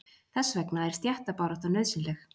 Þess vegna er stéttabarátta nauðsynleg.